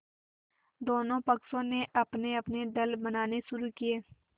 दोनों पक्षों ने अपनेअपने दल बनाने शुरू किये